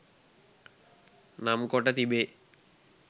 නම් කොට තිබේ.